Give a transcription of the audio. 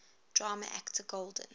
drama actor golden